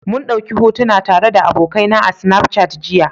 mun dauki hotuna tare da abokaina a Snapchat jiya.